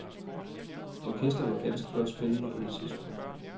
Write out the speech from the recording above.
Orkestret var ganske godt spillende på det tidspunkt.